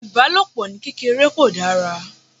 Ìbálòpò ní kéreké kò dára.